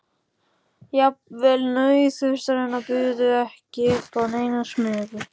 Jafnvel nauðþurftirnar buðu ekki upp á neina smugu.